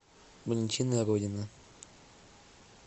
валентина родина